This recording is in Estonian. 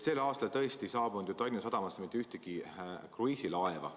Sellel aastal tõesti ei saabunud ju Tallinna sadamasse mitte ühtegi kruiisilaeva.